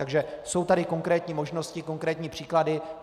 Takže jsou tady konkrétní možnosti, konkrétní příklady.